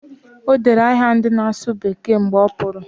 O dere aha ndị na-asụ bekee mgbe ọ pụrụ